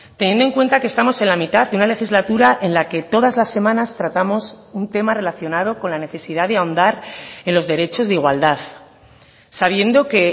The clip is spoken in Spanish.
teniendo en cuenta que estamos en la mitad de una legislatura en la que todas las semanas tratamos un tema relacionado con la necesidad de ahondar en los derechos de igualdad sabiendo que